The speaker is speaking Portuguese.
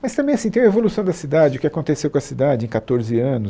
Mas também assim, tem a evolução da cidade, o que aconteceu com a cidade em catorze anos